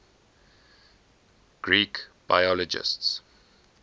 greek biologists